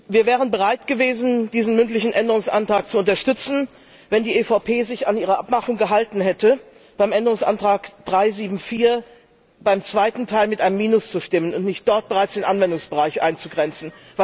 Wir wären bereit gewesen, diesen mündlichen Änderungsantrag zu unterstützen, wenn die EVP sich an ihre Abmachung gehalten hätte, bei Änderungsantrag 374 beim zweiten Teil mit einem Minus zu stimmen, und nicht dort bereits den Anwendungsbereich einzugrenzen.